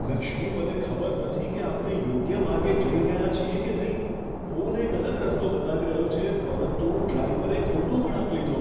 લક્ષ્મી, મને ખબર નથી કે આપણે યોગ્ય માર્ગે જઈ રહ્યાં છીએ કે નહીં. ફોન એક અલગ રસ્તો બતાવી રહ્યો છે પરંતુ ડ્રાઈવરે ખોટો વળાંક લીધો.